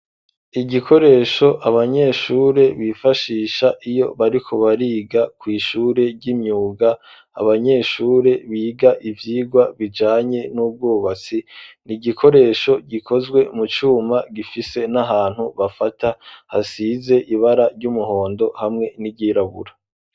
Igikoresho abanyeshure bifashisha iyo bariko bariga kw'ishure ry'imyuga, abanyeshuri biga ivyirwa bijanye n'ivy'ubwubatsi, ni igikoresho gikozwe mu cuma, gifise n'ahantu bafata hasize ibara ry'umuhondo hamwe n'iryirabura.